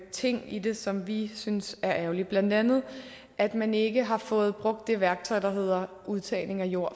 ting i det som vi synes er ærgerligt blandt andet at man ikke har fået brugt det værktøj der hedder udtagning af jord